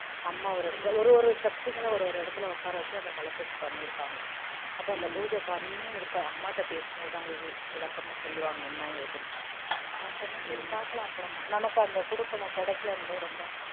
அம்மா ஒரு இடத்துல ஒரு ஒரு சக்திகளும் ஒரு ஒரு இடத்துல உக்கார வச்சி அந்த கலசத்த பண்ணி இருக்காங்க அப்போ அந்த பூஜை பண்ணி அம்மா கிட்ட போசும் போது தான் விளக்கம்மா சொல்லுவாங்க என்ன ஏதுன்னு நான் சொன்னேன் சரி பார்க்கலாம் அப்பறம்மா நமக்கு அந்த குடுப்பினை கிடைக்கலன்னும் போது ரொம்ப